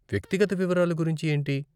వ్యక్తిగత వివరాలు గురించి ఏంటి?